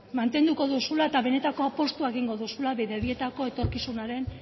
mantenduko duzula eta betetako apustua egingo duzula bidebietako etorkizunaren